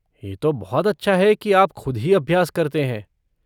ये तो बहुत अच्छा है की आप ख़ुद ही अभ्यास करते हैं।